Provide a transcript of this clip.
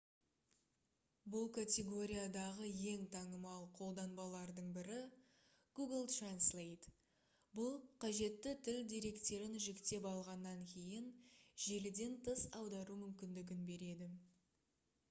бұл категориядағы ең танымал қолданбалардың бірі google translate бұл қажетті тіл деректерін жүктеп алғаннан кейін желіден тыс аудару мүмкіндігін береді